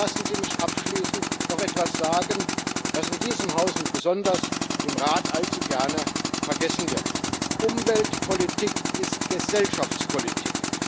Aber lassen Sie mich abschließend noch etwas sagen, was in diesem Haus und besonders im Rat allzu gerne vergessen wird Umweltpolitik ist Gesellschaftspolitik